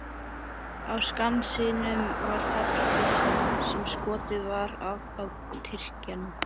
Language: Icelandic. Á Skansinum var fallbyssa sem skotið var af á Tyrkjann.